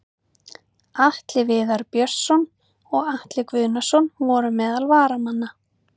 Atli Viðar Björnsson og Atli Guðnason voru meðal varamanna.